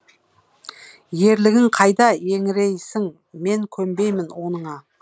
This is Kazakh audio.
ерлігің қайда еңірейсің мен көнбеймін оныңа